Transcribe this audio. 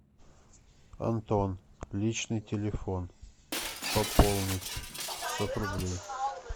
антон личный телефон пополнить пятьсот рублей